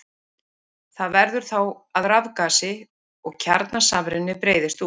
Það verður þá að rafgasi og kjarnasamruni breiðist út.